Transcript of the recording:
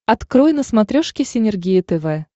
открой на смотрешке синергия тв